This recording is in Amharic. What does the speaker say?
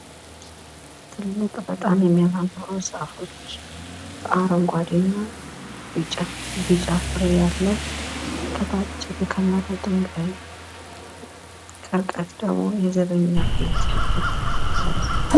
እጽዋት በምድር ላይ ለሚኖሩ ህይወት ያላቸው ነገሮች ሁሉ መሰረታዊ የህልውና ምንጭ የሆኑ በፎቶሲንተሲስ አማካኝነት ምግብን የሚያመርቱ ፍጥረታት ናቸው።